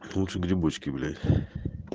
лучше грибочки блять